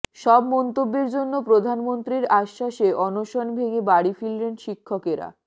সব মন্তব্যের জন্য প্রধানমন্ত্রীর আশ্বাসে অনশন ভেঙে বাড়ি ফিরলেন শিক্ষকেরা